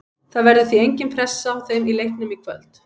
Það verður því engin pressa á þeim í leiknum í kvöld.